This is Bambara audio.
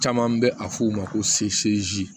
Caman bɛ a fɔ o ma ko